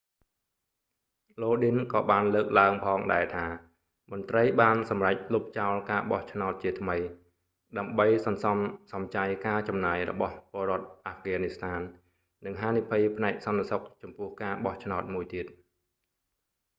lodin ក៏បានលើកឡើងផងដែរថា មន្រ្តីបានសម្រេចលុបចោលការបោះឆ្នោតជាថ្មី ដើម្បីសន្សំសំចៃការចំណាយរបស់ពលរដ្ឋអាហ្វហ្គានីស្ថាន និងហានិភ័យផ្នែកសន្តិសុខចំពោះការបោះឆ្នោតមួយទៀត